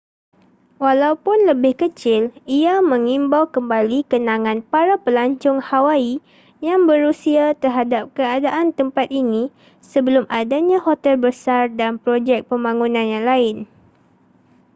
walaupun lebih kecil ia mengimbau kembali kenangan para pelancong hawaii yang berusia terhadap keadaan tempat ini sebelum adanya hotel besar dan projek pembangunan yang lain